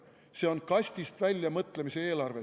See on kastist väljapoole mõtlemise eelarve.